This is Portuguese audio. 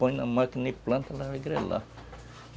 Põe na máquina e planta, ela vai grelar.